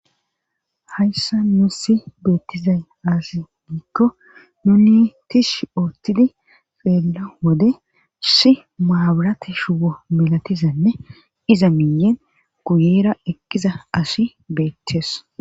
Hayssa nu si beettizay asi niikko nuni tish oottidi feella wode si maaburate shuwo melatizanne iza miyen guyeera eqqiza asi beettes.